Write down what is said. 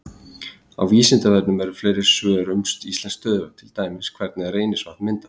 Á Vísindavefnum eru fleiri svör um íslensk stöðuvötn, til dæmis: Hvernig er Reynisvatn myndað?